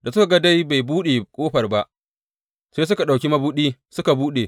Da suka ga dai bai buɗe ƙofar ba, sai suka ɗauki mabuɗi, suka buɗe.